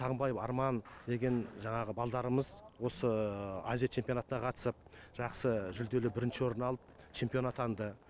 сағынбаев арман деген жаңағы балдарымыз осы азия чемпионатына қатысып жақсы жүлделі бірінші орын алып чемпион атанды